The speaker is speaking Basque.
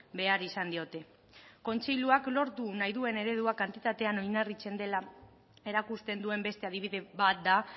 behar izan diote kontseiluak lortu nahi duen eredua kantitatean oinarritzen dela erakusten duen beste adibide bat da